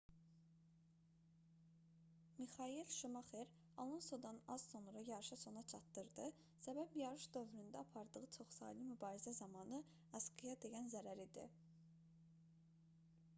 mixayel şumaxer alonsodan az sonra yarışı sona çatdırdı səbəb yarış dövründə apardığı çoxsaylı mübarizə zamanı asqıya dəyən zərər idi